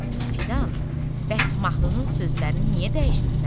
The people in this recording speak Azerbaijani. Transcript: Fidan, bəs mahnının sözlərini niyə dəyişmisən?